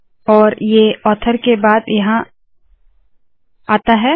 और ऑथर के बाद ये आता है